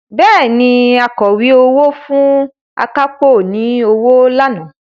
Bẹ́ẹ̀ni, Akọ̀wé owó fún akápò ní owó lánàá